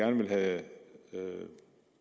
vil have